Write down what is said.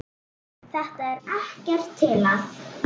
Þetta er ekkert til að.